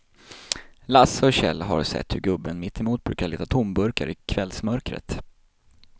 Lasse och Kjell har sett hur gubben mittemot brukar leta tomburkar i kvällsmörkret.